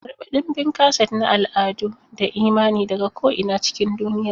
Karɓi ɗimbin kaset na al'adu da imani daga ko'ina cikin duniya.